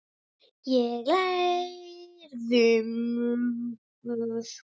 Ég lærði mikið.